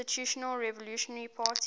institutional revolutionary party